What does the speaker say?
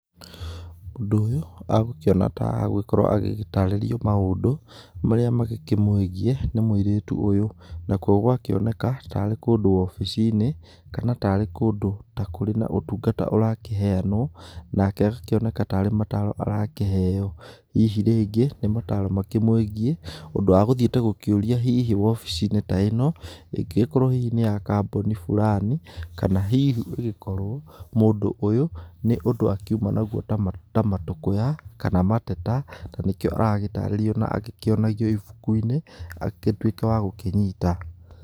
Mũndũ ũyũ agũkĩona ta agũgĩkorwo agĩtarirĩrio maũndũ marĩa magĩkĩmũĩgiĩ nĩ mũirĩtu ũyũ. Na kuo gũgakĩoneka ta rĩ kũndũ obici-inĩ, kana ta rĩ kũndũ ta kũrĩ na ũtungata ũrakĩheanwo. Nake agakĩoneka tarĩ mataro arakĩheyo. Hihi rĩngĩ nĩ mataro makĩmwĩgiĩ, ũndũ agũthiĩte gũkĩũria hihi obici-inĩ ta ĩno ĩngĩgĩkorwo hihi nĩ ya kambuni fulani. Kana hihi ĩgĩkorwo mũndũ ũyũ nĩ ũndũ akiuma naguo ta matũkũya kana mateta, nĩkĩo aragĩtarĩrio agĩkĩonagio ibuku-inĩ, agigĩtuĩke wa gũkĩnyita.